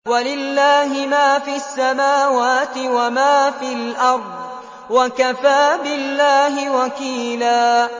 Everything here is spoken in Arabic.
وَلِلَّهِ مَا فِي السَّمَاوَاتِ وَمَا فِي الْأَرْضِ ۚ وَكَفَىٰ بِاللَّهِ وَكِيلًا